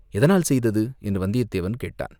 எதனால் செய்தது?" என்று வந்தியத்தேவன் கேட்டான்.